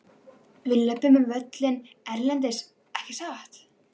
Við löbbum á völlinn erlendis ekki satt?